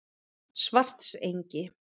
Svartsengi